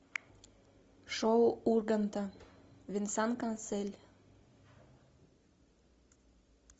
шоу урганта венсан кассель